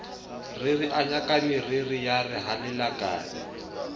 ririanya kameriri yare ha lelakabe